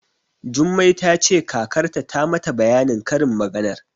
Jummai ta ce kakarta ta mata bayanin karin maganar.